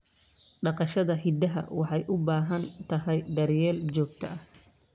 Dhaqashada idaha waxay u baahan tahay daryeel joogto ah.